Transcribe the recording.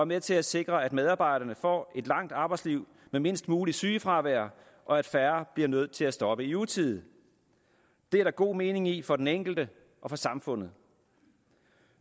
med til at sikre at medarbejderne får et langt arbejdsliv med mindst muligt sygefravær og at færre bliver nødt til at stoppe i utide det er der god mening i for den enkelte og for samfundet